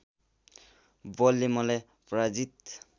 बलले मलाई पराजित